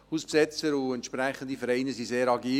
Hausbesetzer und entsprechende Vereine sind sehr agil.